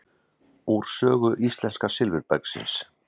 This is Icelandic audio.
Úr sögu íslenska silfurbergsins.